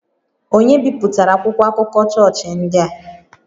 Ònye bipụtara akwụkwọ akụkọ chọọchị ndị a?